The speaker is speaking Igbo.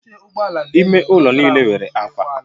Ime ụlọ niile nwere akwa